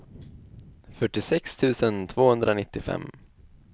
fyrtiosex tusen tvåhundranittiofem